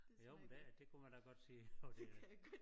Jo men det det kunne man da godt sige at det